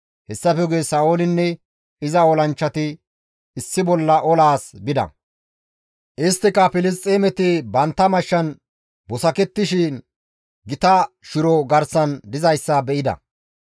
Hessafe guye Sa7oolinne iza olanchchati issi bolla olaas bida; isttika Filisxeemeti bantta mashshan busakettishe gita shiro garsan dizayssa be7ida.